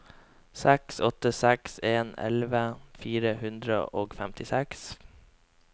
seks åtte seks en elleve fire hundre og femtiseks